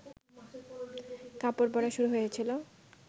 কাপড় পরা শুরু হয়েছিল